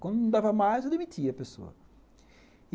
Quando não dava mais, eu demitia a pessoa.